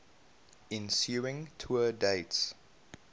ensuing tour dates